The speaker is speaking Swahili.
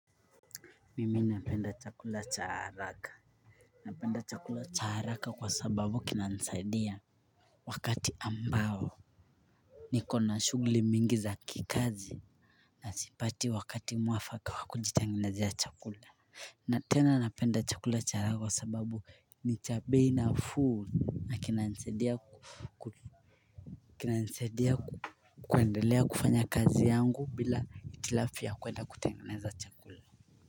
Mimi napenda chakula cha haraka. Napenda chakula cha haraka kwa sababu kina nisaidia wakati ambao nikona shugli mingi za kikazi na sipati wakati mwafaka wa kujitengenezea chakula. Na tena napenda chakula cha haraka kwa sababu ni cha bei nafuu na kina nisaidia. Kina nsaidia kuandelea kufanya kazi yangu bila hitilafu ya kwenda kutengeneza chakula.